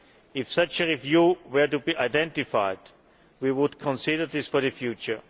If such a review were to be identified, we would consider this for the future.